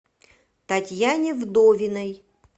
татьяне вдовиной